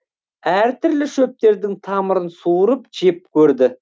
әр түрлі шөптердің тамырын суырып жеп көрді